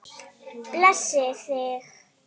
Blessi þig.